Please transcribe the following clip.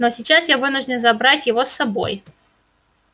но сейчас я вынужден забрать его с собой